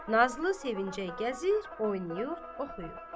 Nazlı sevinclə gəzir, oynayır, oxuyur.